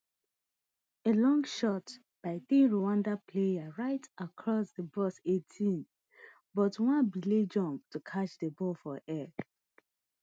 a long shot by di rwanda player right across di box eighteen but nwabali jump to catch di ball for air